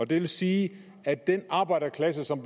det vil sige at den arbejderklasse som